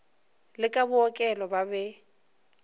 le ba bookelo ba be